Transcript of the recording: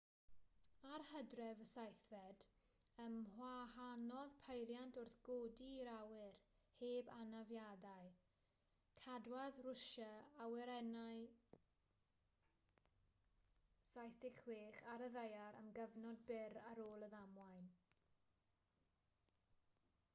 ar hydref 7 ymwahanodd peiriant wrth godi i'r awyr heb anafiadau cadwodd rwsia awyrennau il-76 ar y ddaear am gyfnod byr ar ôl y ddamwain